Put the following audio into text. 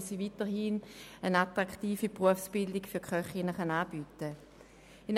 Sie will weiterhin eine attraktive Berufsbildung für Köchinnen und Köche anbieten können.